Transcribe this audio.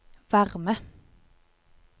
varme